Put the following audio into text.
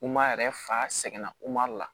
yɛrɛ fa sɛgɛnna la